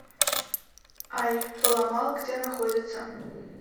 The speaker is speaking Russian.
ай поломал где находится